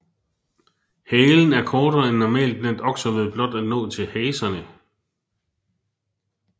Halen er kortere end normalt blandt okser ved blot at nå til haserne